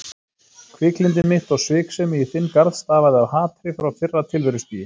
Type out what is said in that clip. Hviklyndi mitt og sviksemi í þinn garð stafaði af hatri frá fyrra tilverustigi.